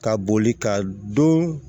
Ka boli ka don